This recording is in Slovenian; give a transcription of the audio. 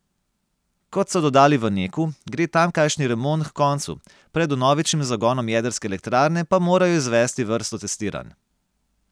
Kot so dodali v Neku, gre tamkajšnji remont h koncu, pred vnovičnim zagonom jedrske elektrarne pa morajo izvesti vrsto testiranj.